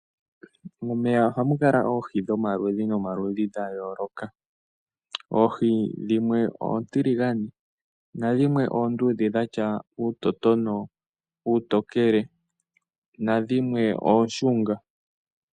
Momeya ohamu kala oohi dhomaludhi dha yooloka. Dhimwe oontiligane, oontokele dhina uutotono noshowo ooshunga.